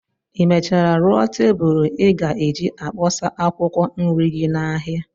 Ị mechara rụọ tebulu ị ga-eji akpọsa akwụkwọ nri gị n'ahịa?